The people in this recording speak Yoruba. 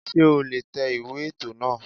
Sé o lè tẹ ìwé ètò náà